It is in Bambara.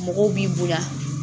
Mɔgɔw b'i bonya